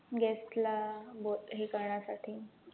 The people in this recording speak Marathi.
guest ला हे करण्यासाठी